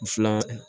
Filan